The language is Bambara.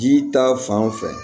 Ji ta fan fɛ